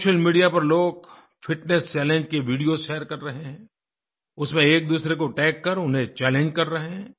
social media पर लोग fitness challenge की वीडियोस शेयर कर रहे हैं उसमें एकदूसरे को टैग कर उन्हें चैलेंज कर रहे हैं